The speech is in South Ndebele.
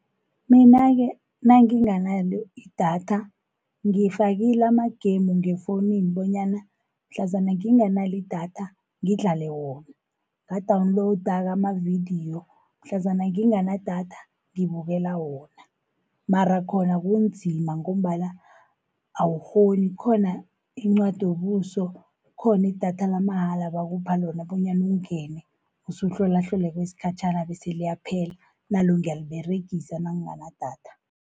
Mina-ke nanginganalo idatha, ngifakile ama-game ngefowunini, bonyana mhlazana nginganalo idatha ngidlale wona. Nga-downloada-ke amavidiyo mhlazana nginganadatha ngibukele wona. Mara khona kunzima ngombana awukghoni, khona incwadobuso, khoni idatha lamahala bakupha lona, bonyana ungene usuhlolahlole kwesikhatjhana bese liyaphela, nalo ngiyaliberegisa nanginganadatha.